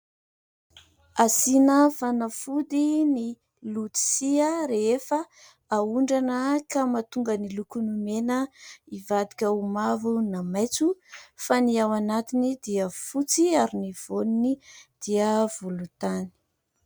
Asiana fanafody ny lôtisia rehefa ahondrana ka mahatonga ny lokony mena hivadika ho mavo na maitso fa ny ao anatiny dia fotsy ary ny voaniny dia volontany.